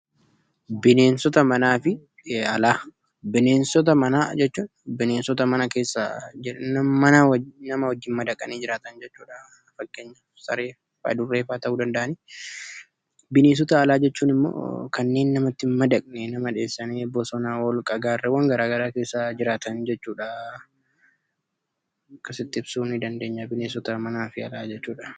Bineensota manaa fi alaa: Bineensota manaa jechuun bineensota mana keessa nama wajjin madaqanii jiraatan jechuudha. Fakkeenyaaf Saree fi Adurree fa'a ta'uu danda’ani. Bineensota alaa jechuun immoo kanneen namatti hin madaqne, nama dheessanii bosona, hoolqa, gaarreewwan gar garaa keessa jiraatan jechuudha. Akkasitti ibsuu ni dandeenya bineensota manaa fi alaa jechuudha.